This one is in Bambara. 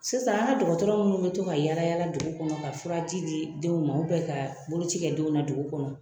Sisan an ka dɔgɔtɔrɔ minnu bɛ to ka yaala-yaala dugu kɔnɔ ka furaji di denw ma ka boloci kɛ denw na dugu kɔnɔ